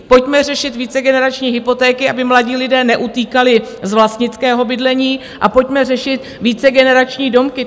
Pojďme řešit vícegenerační hypotéky, aby mladí lidé neutíkali z vlastnického bydlení, a pojďme řešit vícegenerační domky.